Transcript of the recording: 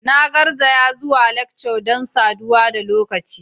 Na garzaya zuwa lectures don saduwa da lokaci.